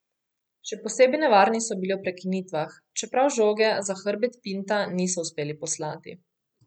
Še posebej nevarni so bili ob prekinitvah, čeprav žoge za hrbet Pinta niso uspeli poslati.